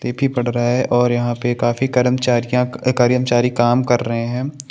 पे फी पद रहा है और यहाँ पे काफी करमचारीयाँ कर्मचारी काम कर रहे है।